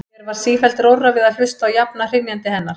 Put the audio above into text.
Mér varð sífellt rórra við að hlusta á jafna hrynjandi hennar.